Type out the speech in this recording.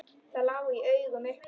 Það lá í augum uppi.